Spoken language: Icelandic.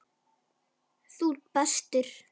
Þú ert bestur.